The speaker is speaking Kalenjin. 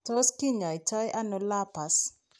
Tot kinyaitaano lupus?